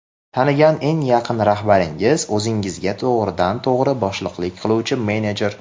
Tanigan eng yaqin rahbaringiz o‘zingizga to‘g‘ridan to‘g‘ri boshliqlik qiluvchi menejer.